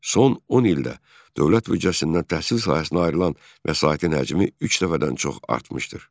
Son 10 ildə dövlət büdcəsindən təhsil sahəsinə ayrılan vəsaitin həcmi üç dəfədən çox artmışdır.